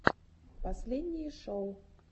последние шоу